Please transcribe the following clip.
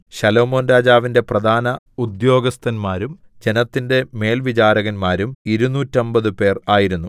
ശലോമോൻരാജാവിന്റെ പ്രധാന ഉദ്യോഗസ്ഥന്മാരും ജനത്തിന്റെ മേൽവിചാരകന്മാരും ഇരുനൂറ്റമ്പതുപേർ ആയിരുന്നു